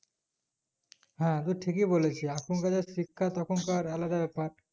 হ্যাঁ টু ঠিকই বলেছিস এখন কার যা শিক্ষা তখন কার আলাদাবেপার